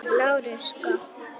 LÁRUS: Gott.